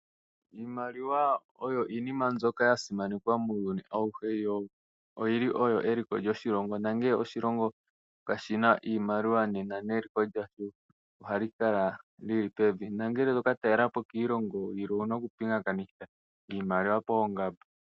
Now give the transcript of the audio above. Iimaliwa oyo iinima mbyoka yasimanekwa muuyuni awuhe yo oyili iliko lyoshilongo, nangele oshilongo kashina iimaliwa nena neliko lyasho ohali kala lili pevi. Nangele tokatalelapo kiilongo yilwe owuna okupinga kanitha iimaliwa poongamba.